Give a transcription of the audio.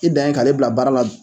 I dan ye k'ale bila baara la